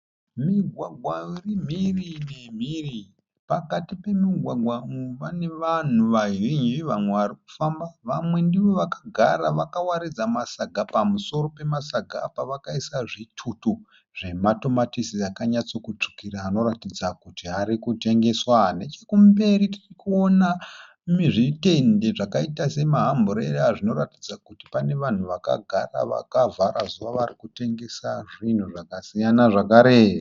Migwagwa iri mhiri nemhiri pakati pemugwagwa uyu pane vanhu vazhinji vamwe vari kufamba vamwe ndivo vakagara vakawaridza masaga pamusoro pemasaga apa vakaisa zvitutu zvematomatisi akanyatsokutsvukira anoratidza kuti ari kutengeswa nechekumberi tiri kuona zvitende zvakaita sema hamburera zvinoratidza kuti pane vanhu vakagara vakavhara zuva varikutengesa zvinhu zvakasiyana zvakare.